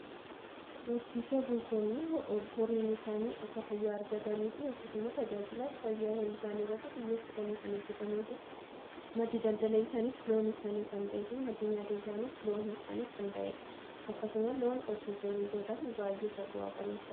Horsiisee bultoonni horiin isaanii akka fayyaa argatanii fi yookiin immoo tajaajilaa fayyaa horii isaani irratti xiyyeeffatanii kan hojjetanii fi maddi daldala isaanis loon isaanii kan ta'e fi maddi nyaata isaanis loon isaanii kan ta'ee dha. Akkasuma loon horsiisee bultoonni baay'ee bu'aa qabeessa.